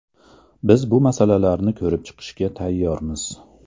Biz bu masalalarni ko‘rib chiqishga tayyormiz.